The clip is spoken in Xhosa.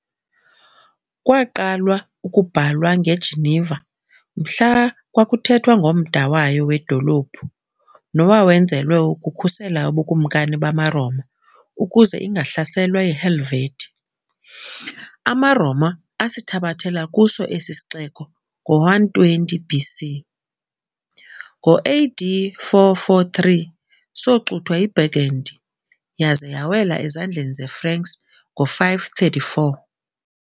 Kwaqalwa ukubhalwa ng"eGeneva" mhla kwakuthethwa ngomda wayo wedolophu, nowawenzelwe ukukhusela ubukumkani bamaRoma ukuze ingahlaselwa yiHelvetii. AmaRoma asithabathela kuso esi sixeko ngo-120 B.C. Ngo-A.D. 443 soxuthwa yiBurgundy, yaza yawela ezandleni zeFranks ngo-534.